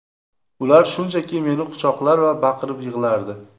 Ular shunchaki meni quchoqlar va baqirib yig‘lardi.